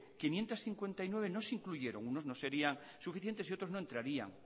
quinientos cincuenta y nueve no incluyeron unos no serían suficientes y otros no entrarían